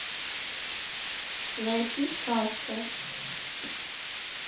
найти сказку